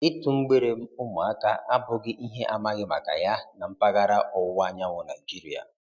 Ịtụ mgbere ụmụaka abụghị ihe amaghị maka ya na mpaghara Ọwụwa Anyanwụ Naịjirịa